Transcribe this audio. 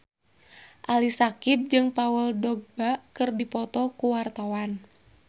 Ali Syakieb jeung Paul Dogba keur dipoto ku wartawan